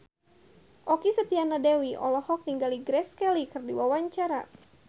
Okky Setiana Dewi olohok ningali Grace Kelly keur diwawancara